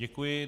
Děkuji.